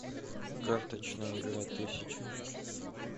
карточная игра тысяча